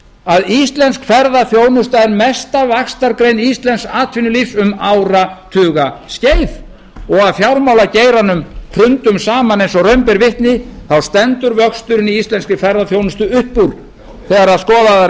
að íslensk ferðaþjónusta er mesta vaxtargrein íslensks atvinnulífs um áratugaskeið og að fjármálageiranum hrundum saman eins og raun ber vitni stendur vöxturinn í íslenskri ferðaþjónustu upp úr þegar skoðaðar